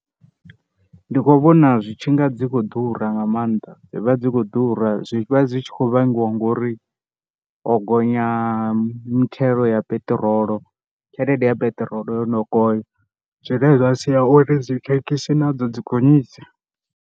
Ndi kho vhona zwitshi nga dzi kho ḓura nga maanḓa dzi vha dzi kho ḓura, zwi vha dzi khou vhangiwa ngori ho gonya mithelo ya peṱirolo, tshelede ya peṱirolo yo no gonya zwine zwa sia uri dzi thekhisi nadzo dzi gonyise.